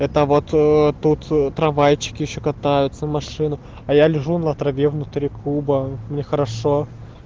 это вот тут трамвайчики ещё катаются машины а я лежу на траве внутри клуба мне хорошо